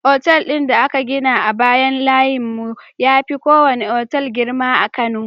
Otal din da aka gina a bayan layin mu yafi kowane otal girma a kano